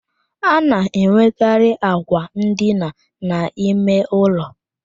A na-enwekarị àkwà ndina n'ime ụlọ